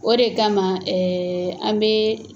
O de kama an bɛ